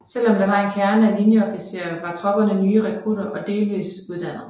Selv om der var en kerne af linjeofficerer var tropperne nye rekrutter og kun delvist uddannede